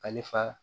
Ale fa